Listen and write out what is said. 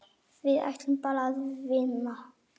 Við ætluðum bara að vinna.